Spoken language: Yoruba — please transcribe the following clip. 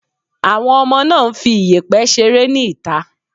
Àwọn ọmọ náà ń fi iyẹ̀pẹ̀ ṣeré ni ìta.